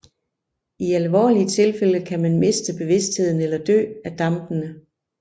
I alvorlige tilfælde kan man miste bevidstheden eller dø af dampene